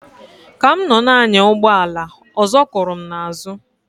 Ka m nọ na-anya ụgbọ ala ọzọ kụrụ m na azu.